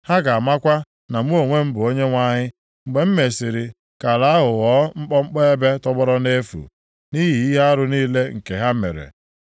Ha ga-amakwa na mụ onwe m bụ Onyenwe anyị, mgbe m mesiri ka ala ahụ ghọọ mkpọmkpọ ebe tọgbọrọ nʼefu, nʼihi ihe arụ niile nke ha mere.’